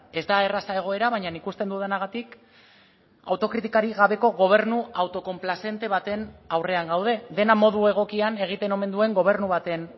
ez da erraza egoera baina ikusten dudanagatik autokritikarik gabeko gobernu autokonplazente baten aurrean gaude dena modu egokian egiten omen duen gobernu baten